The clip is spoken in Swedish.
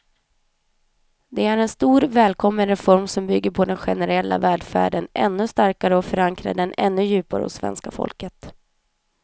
Det är en stor, välkommen reform som bygger den generella välfärden ännu starkare och förankrar den ännu djupare hos svenska folket.